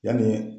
Yanni